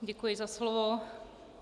Děkuji za slovo.